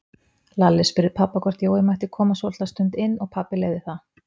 Lalli spurði pabba hvort Jói mætti koma svolitla stund inn og pabbi leyfði það.